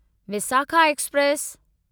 Visakha express